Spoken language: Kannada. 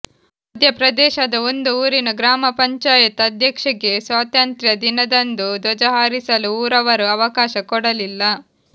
ಮಧ್ಯ ಪ್ರದೇಶದ ಒಂದು ಊರಿನ ಗ್ರಾಮ ಪಂಚಾಯತ್ ಅಧ್ಯಕ್ಷೆಗೆ ಸ್ವಾತಂತ್ರ್ಯ ದಿನದಂದು ಧ್ವಜ ಹಾರಿಸಲು ಊರವರು ಅವಕಾಶ ಕೊಡಲಿಲ್ಲ